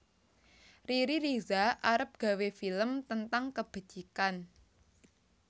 Riri Riza arep gawe film tentang kebecikan